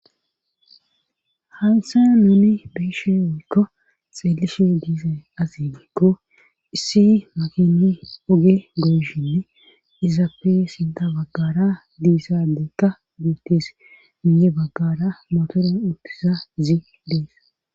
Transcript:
Hansa noni beeshe woykko xeelishe diise asi giikko issi makini oge goyshinne izapfe sinta baggara diisadeykka goottes miye baggara motoron uttiza zi dees